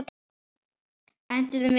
Enduðum við vel?